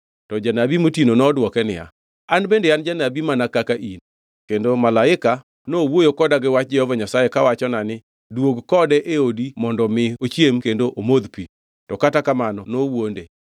To janabi motino nodwoke niya, “An bende an janabi mana kaka in. Kendo malaika nowuoyo koda gi wach Jehova Nyasaye kawachona ni, ‘Duog kode e odi mondo mi ochiem kendo omodh pi.’ ” To kata kamano nowuonde.